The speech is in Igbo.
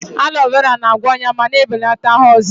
Aloe vera na-agwọ ọnya ma na-ebelata ahụ ọzịza.